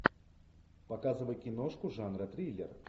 показывай киношку жанра триллер